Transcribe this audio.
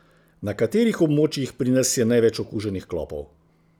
Na katerih območjih pri nas je največ okuženih klopov?